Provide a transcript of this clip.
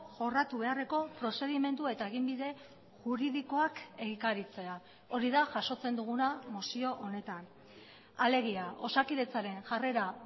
jorratu beharreko prozedimendu eta eginbide juridikoak egikaritzea hori da jasotzen duguna mozio honetan alegia osakidetzaren jarrera